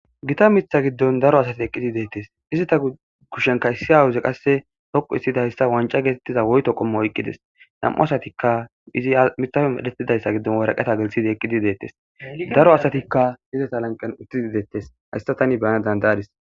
gita mitha giddon daro asati eqqidi deettes izita kushenka issi awuze qasse hoqu issidayssa wanca geetettiza woyto qommo oyqqides nam7u asatikka izi mitafe medhetidayssa giddon waraqeta gelthidi eqqidi deettes daro asatikka hizesa lanqen uttidi deettes hayssa tani bayana dandayadis